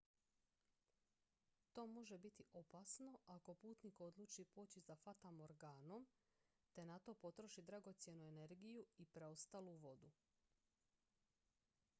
to može biti opasno ako putnik odluči poći za fatamorganom te na to potroši dragocjenu energiju i preostalu vodu